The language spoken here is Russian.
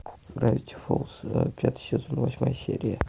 гравити фолз пятый сезон восьмая серия